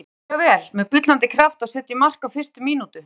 Við byrjuðum mjög vel, með bullandi kraft og setjum mark á fyrstu mínútu.